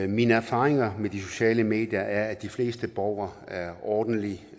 mine erfaringer med de sociale medier er at de fleste borgere er ordentlige